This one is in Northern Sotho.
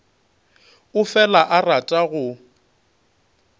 o fela a rata go